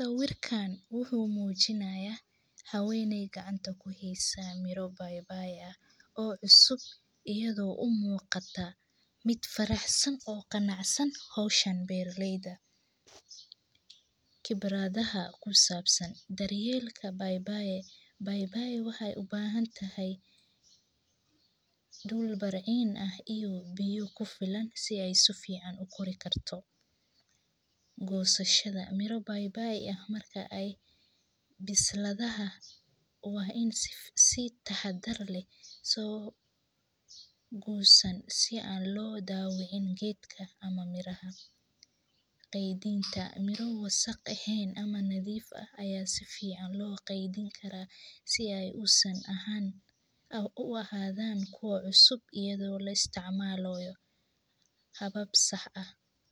Sawirkan wuxuu mujinaya haweney gacanta kuhaysa mira bai baiga oo cusub itada oo umuqata mid faraxsan qibradaha kusabsan bai bai waxee uficantahay dul burcid leh waa I si fican logoyo kedinta waxaa lakedhini karaa mira fican si aad u hesho habab sax ah.